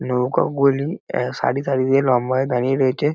নৌকাগুলি অ্যাঁহ সারি সারি দিয়ে লম্বা হয়ে দাঁড়িয়ে রয়েছে।